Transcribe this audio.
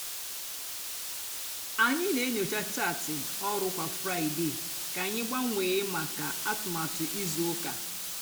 ányị nà-ènyocha chaatị ọrụ kwá fraịde kà ányị gbanwee mákà atụmatụ ízú úkà.